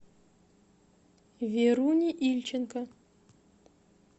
веруне ильченко